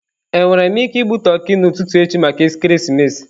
Enwere m ike igbu toki n'ụtụtụ echi maka ekeresimesi?